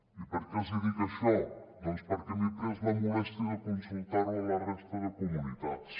i per què els dic això perquè m’he pres la molèstia de consultar ho a la resta de comunitats